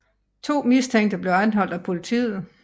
To mistænkte blev anholdt af politiet